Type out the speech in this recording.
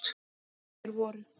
Þær voru: